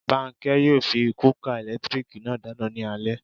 Bánkẹ́ yóò fi kúúkà ẹ̀lẹ́tírìkì náà dáná ní alé